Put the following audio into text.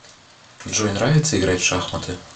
джой нравится играть в шахматы